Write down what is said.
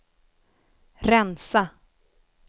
rensa